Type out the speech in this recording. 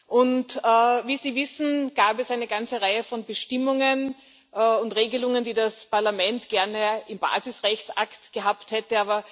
Und wie Sie wissen, gab es eine ganze Reihe von Bestimmungen und Regelungen, die das Parlament gerne im Basisrechtsakt gehabt hätte.